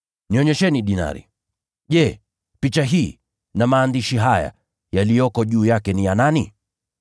“Nionyesheni dinari. Je, sura hii na maandishi haya yaliyoko juu yake ni vya nani?”